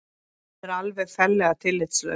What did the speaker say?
Hún er alveg ferlega tillitslaus